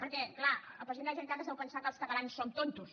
perquè clar el president de la generalitat es deu pensar que els catalans som tontos